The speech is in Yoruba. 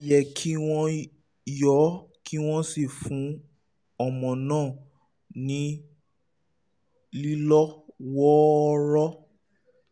ó yẹ kí wọ́n yọ́ ọ kí wọ́n sì fún ọmọ náà ní lílọ́ wọ́ọ́rọ́